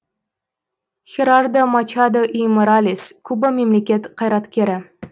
херардо мачадо и моралес куба мемлекет қайраткері